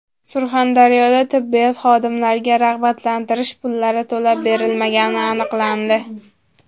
Surxondaryoda tibbiyot xodimlariga rag‘batlantirish pullari to‘lab berilmagani aniqlandi.